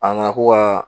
A na ko ka